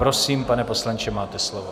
Prosím, pane poslanče, máte slovo.